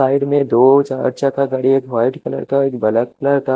side में दो चा चाका गाडी है एक वाइट कलर का एक ब्लैक कलर का--